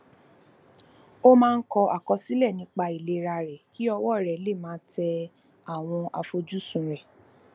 ó máa ń kọ àkọsílè nípa ìlera rè kí ọwó rè lè máa tẹ àwọn àfojúsùn rè